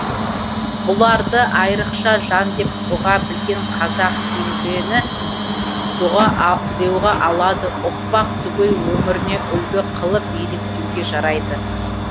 бұларды айрықша жан деп ұға білген қазақ кейінгіні деұға алады ұқпақ түгіл өміріне үлгі қылып еліктеуге жарайды